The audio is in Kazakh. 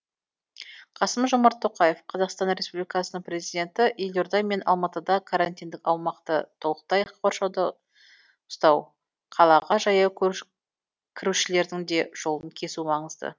қасым жомарт тоқаев қазақстан республикасының президенті елорда мен алматыда карантиндік аумақты толықтай қоршауда ұстау қалаға жаяу кірушілердің де жолын кесу маңызды